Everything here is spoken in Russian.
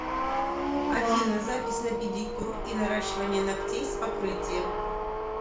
афина запись на педикюр и наращивание ногтей с покрытием